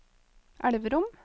Elverum